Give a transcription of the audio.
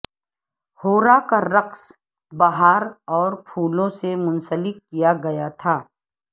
ہورا کا رقص بہار اور پھولوں سے منسلک کیا گیا تھا